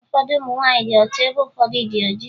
Ụfọdụ ụmụ nwaanyị dị ọcha ebe ụfọdụ dị oji